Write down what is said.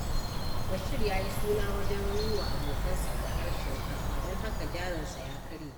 Bashir ya yi suna wajen yi wa abokansa arahar shinkafa don haka jarinsa ya karye.